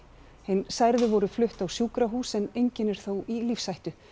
hin særðu voru flutt á sjúkrahús en enginn er þó í lífshættu